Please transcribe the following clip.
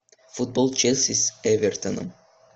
футбол челси с эвертоном